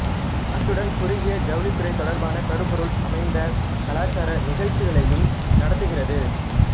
அத்துடன் குறுகிய ஜவுளித்துறை தொடர்பான கருப்பொருள் அமைந்த கலாச்சார நிகழ்ச்சிகளையும் நடத்துகிறது